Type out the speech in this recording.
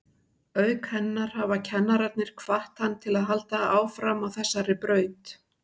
Auk hennar hafa kennararnir hvatt hann til að halda áfram á þessari braut.